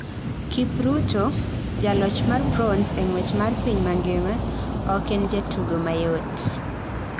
Kipruto, jaloch mar bronze e ng'wech mar piny mangima, ok en jatugo mayot.